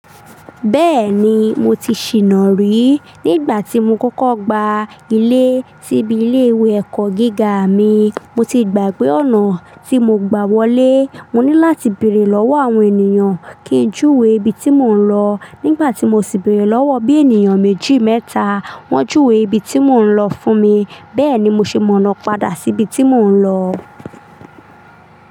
Bẹ́ẹ̀ni, mo ti ṣìná rí. Nígbà tí mo kọ́kọ́ gba ilé síbi ilé ìwé ẹ̀kọ́ gíga mi, mo ti gbàgbé ọ̀nà tí mo gba wọlé. Mo ní láti bèrè lọ́wọ́ àwọn ènìyàn kí n júwe ibi tí mò ń lọ. Nígbà tí mo sì bèrè lọ́wọ́ bí ènìyàn méjì mẹ́ta, wọ́n júwe ibi tí mò ń lọ fún mi. Bẹ́ẹ̀ ni mo ṣe mọ̀nà padà sí ibi tí mò ń lọ.